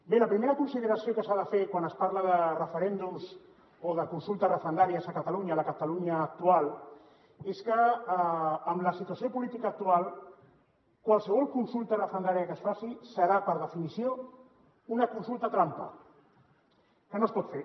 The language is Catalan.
bé la primera consideració que s’ha de fer quan es parla de referèndums o de consultes referendàries a catalunya a la catalunya actual és que amb la situació política actual qualsevol consulta referendària que es faci serà per definició una consulta trampa que no es pot fer